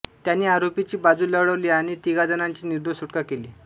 त्यांनी आरोपींची बाजू लढवली आणि तिघाजणांची निर्दोष सुटका केली